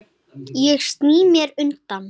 Ég sný mér undan.